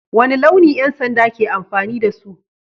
Wane launi 'yan sanda ke amfani da su?